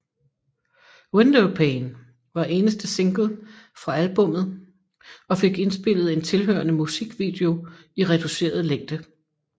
Windowpane var eneste single fra albummet og fik indspillet en tilhørende musikvideo i reduceret længde